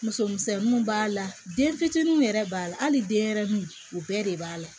Muso misɛnninw b'a la den fitininw yɛrɛ b'a la hali denyɛrɛnin o bɛɛ de b'a la